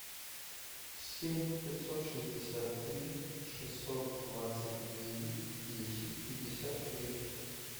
семь пятьсот шестьдесят три шестьсот двадцать девять десять пятьдесят три